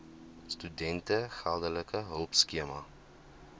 studente geldelike hulpskema